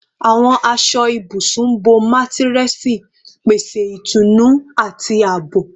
Awọn aṣọ ibusun bo matiresi, pese itunu ati aabo